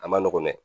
A ma nɔgɔn dɛ